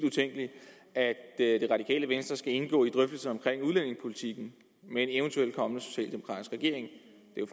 at tænke at det radikale venstre skal indgå i drøftelser omkring udlændingepolitikken med en eventuelt kommende socialdemokratisk regering